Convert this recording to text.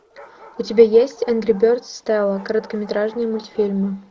у тебя есть энгри бердс стелла короткометражные мультфильмы